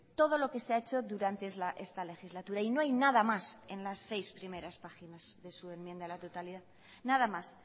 todo lo que se ha hecho durante esta legislatura y no hay nada más en las seis primeras páginas de su enmienda a la totalidad nada más